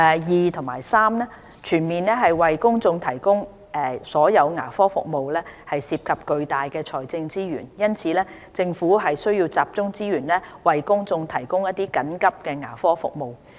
二及三全面為公眾提供所有牙科服務涉及巨大的財政資源，因此，政府須集中資源為公眾提供緊急牙科服務。